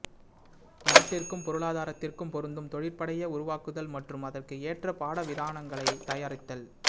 நாட்டிற்கும் பொருளாதாரத்திற்கும் பொருந்தும் தொழிற்படையை உருவாக்குதல் மற்றும் அதற்கு ஏற்ற பாட விதானங்களைத் தயாரித்தல்